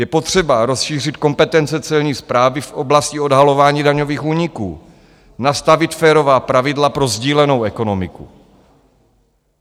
Je potřeba rozšířit kompetence Celní správy v oblasti odhalování daňových úniků, nastavit férová pravidla pro sdílenou ekonomiku.